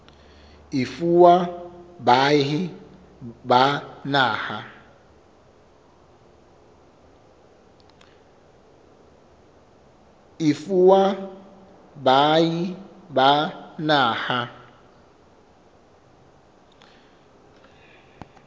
e fuwa baahi ba naha